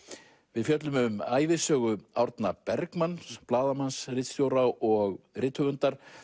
við fjöllum um ævisögu Árna Bergmanns blaðamanns ritstjóra og rithöfundar